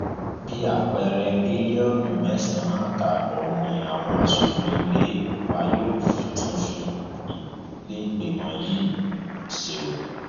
bíi àpẹẹrẹ bílíọnù mẹsànán àtààbọ ni àwọn aṣòfin ilé wa yóò fi tún iléìgbìmọ yìí ṣe o